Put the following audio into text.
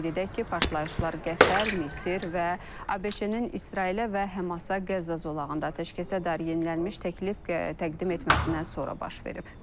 Qeyd edək ki, partlayışlar Qətər, Misir və ABŞ-nin İsrailə və Həmasa Qəzza zolağında atəşkəsə dair yenilənmiş təklif təqdim etməsindən sonra baş verib.